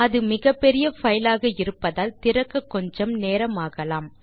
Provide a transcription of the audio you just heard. அது மிகப்பெரிய பைல் ஆக இருப்பதால் திறக்க கொஞ்சம் நேரமாகலாம்